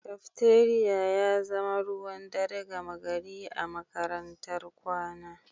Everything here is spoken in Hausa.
Cafeteria ya zama ruwan dare gama gari a makarantar kwana